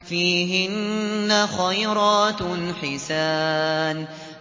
فِيهِنَّ خَيْرَاتٌ حِسَانٌ